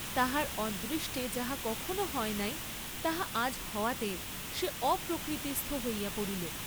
তাহার অদৃষ্টে যাহা কখনও হয় নাই তাহা আজ হওয়াতে সে অপ্রকৃতিস্থ হইয়া পড়িল।